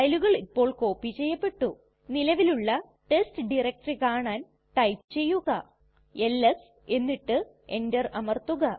ഫയലുകൾ ഇപ്പോൾ കോപ്പി ചെയ്യപെട്ടു നിലവിലുള്ള ടെസ്റ്റ് ഡയറക്ടറി കാണാൻ ടൈപ്പ് ചെയ്യുക എൽഎസ് എന്നിട്ട് എന്റർ അമർത്തുക